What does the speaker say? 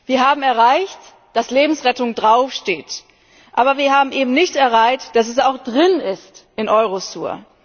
Wir haben erreicht, dass Lebensrettung draufsteht, aber wir haben eben nicht erreicht, dass es auch drin ist in Eurosur.